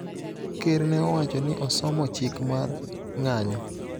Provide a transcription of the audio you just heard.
Ker ne owacho ni osomo chik mar ng�anyo